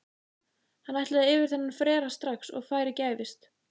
Hann ætlaði yfir þennan frera strax og færi gæfist.